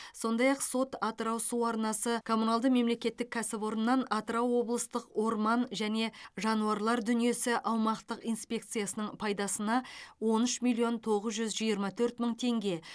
сондай ақ сот атырау су арнасы коммуналды мемлекеттік кәсіпорыннан атырау облыстық орман және жануарлар дүниесі аумақтық инспекциясының пайдасына он үш миллион тоғыз жүз жиырма төрт мың теңге